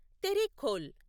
Terekhol